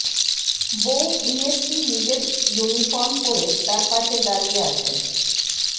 বৌ ডিএসপি নিজের ইউনিফর্ম পরে তার পাশে দাড়িয়ে আছেন